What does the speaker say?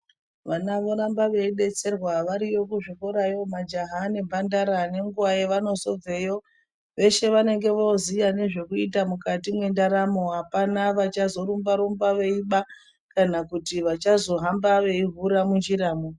Vana voramba veidetserwa variyo kuzvikora yomajaha nemhandara nenguwa yevanozobveyo veshe vanenge voziya nezvekuita mukati mwendaramo apana vachazorumba rumba veiba kana kuti vachazohamba veihura munjiramwo.